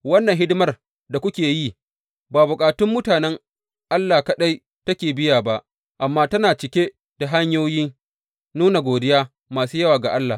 Wannan hidimar da kuke yi, ba bukatun mutanen Allah kaɗai take biya ba, amma tana cike da hanyoyin nuna godiya masu yawa ga Allah.